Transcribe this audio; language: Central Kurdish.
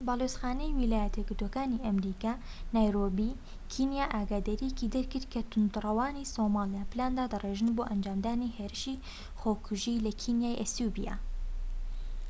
باڵوێزخانەی ویلایەتە یەکگرتووەکانی ئەمریکا لە نایرۆبی کینیا ئاگاداریەکی دەرکرد کە تووندڕەوانی سۆمالیا پلان دادەڕێژن بۆ ئەنجامدانی هێرشی خۆکوژی لە کینیا و ئەسیوبیا